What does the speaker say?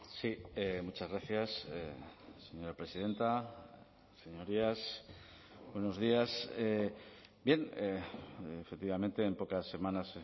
sí muchas gracias señora presidenta señorías buenos días bien efectivamente en pocas semanas